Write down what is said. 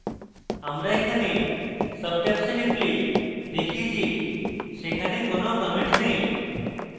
আমরা এখানে subtabs we টিপলে দেখি যে সেখানে কোনো comments নেই